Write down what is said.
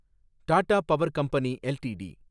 Tata power company LTD